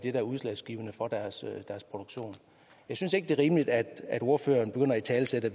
er udslagsgivende for deres produktion jeg synes ikke det er rimeligt at ordføreren begynder at italesætte